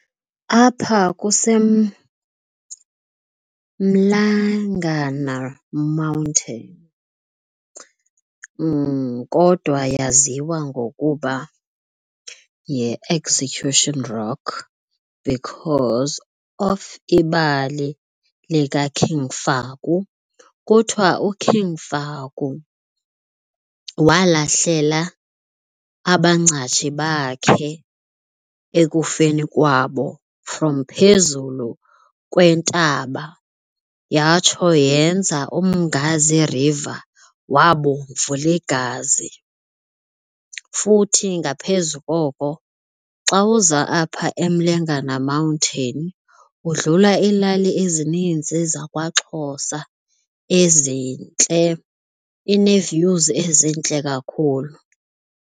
Apha kuse Mlangana Mountain kodwa yaziwa ngokuba yiExecution Rock because of ibali likaKing Faku. Kuthiwa uKing Faku walahlela abangcatshi bakhe ekufeni kwabo from phezulu kwentaba yatsho yenza Umngazi River wabomvu ligazi. Futhi ngaphezu koko xa uza apha eMlengana Mountain udlula iilali ezininzi zakwaXhosa ezintle, inee-views ezintle kakhulu.